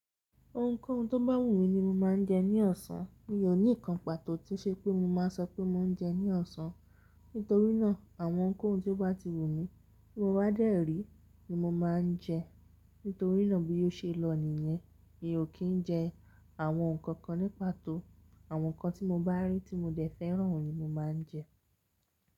Ohunkóhun tó bá wù mí ni mo máa ń jẹ ní ọ̀sán. Mi ò ní ìkànpàtó tí ṣe pé mo máa sọ pé mo ń jẹ ní ọ̀sán. Nítorínà, àwọn ohunkóhun tó bá ti wù mí tí mo bá dẹ́ rì ni mo máa ń jẹ. Nítorínà bí yóò ṣe lọ nìyẹn, mi ò kín jẹ àwọn nǹkan kan ní pàtó. Awọn nkan ti mo bá ri tí mo de fẹ́ran ni mo máa ń jẹ.